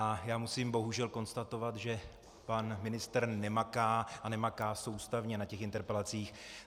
A já musím bohužel konstatovat, že pan ministr nemaká a nemaká soustavně na těch interpelacích.